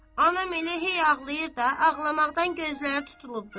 Anam elə hey ağlayır da, ağlamaqdan gözləri tutulubdur.